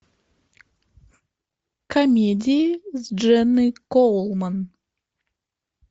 комедии с дженной коулман